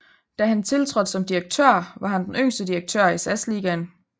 Da han tiltrådte som direktør var han den yngste direktør i SAS Ligaen